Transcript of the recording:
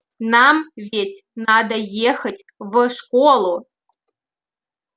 нам ведь надо ехать в школу